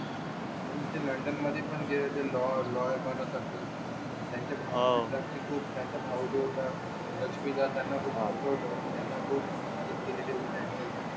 आणि ते लंडनमध्ये पण लॉं बनत असे त्यांच्या भाऊ जो होता लक्ष्मी द्या त्यांना सपोर्ट त्यांना खूप मदत केलेली होती त्यांची